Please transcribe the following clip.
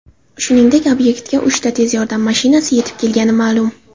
Shuningdek, obyektga uchta tez yordam mashinasi yetib kelgani ma’lum.